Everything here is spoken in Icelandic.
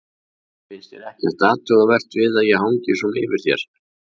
Finnst þér ekkert athugavert við að ég hangi svona yfir þér?